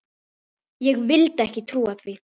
Ég vildi ekki trúa því.